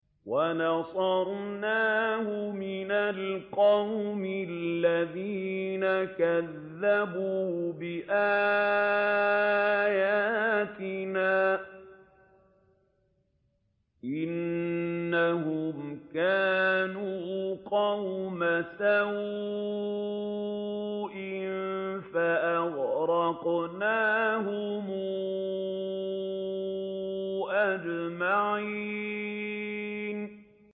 وَنَصَرْنَاهُ مِنَ الْقَوْمِ الَّذِينَ كَذَّبُوا بِآيَاتِنَا ۚ إِنَّهُمْ كَانُوا قَوْمَ سَوْءٍ فَأَغْرَقْنَاهُمْ أَجْمَعِينَ